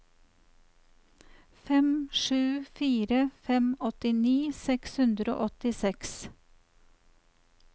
fem sju fire fem åttini seks hundre og åttiseks